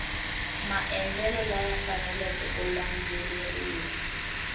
maendlelo laya faneleke ku landzeleriwa